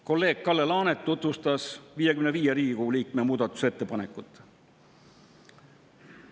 Kolleeg Kalle Laanet tutvustas 55 Riigikogu liikme muudatusettepanekut.